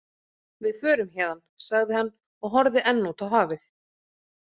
Við förum héðan, sagði hann og horfði enn út á hafið.